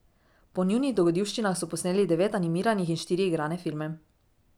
Po njunih dogodivščinah so posneli devet animiranih in štiri igrane filme.